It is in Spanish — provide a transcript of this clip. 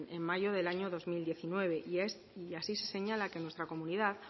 en mayo del año dos mil diecinueve y así se señala que en nuestra comunidad